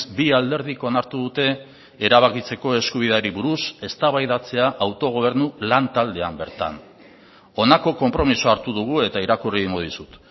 bi alderdik onartu dute erabakitzeko eskubideari buruz eztabaidatzea autogobernu lan taldean bertan honako konpromisoa hartu dugu eta irakurri egingo dizut